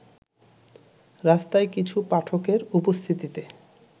রাস্তায় কিছু পাঠকের উপস্থিতিতে